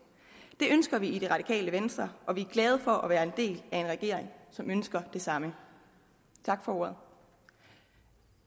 det ønsker vi i det radikale venstre og vi er glade for at være en del af en regering som ønsker det samme tak for ordet